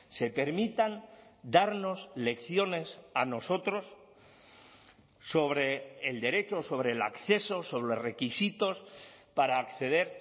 se permitan darnos lecciones a nosotros sobre el derecho o sobre el acceso sobre requisitos para acceder